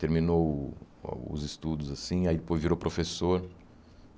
Terminou o os estudos assim, aí depois virou professor.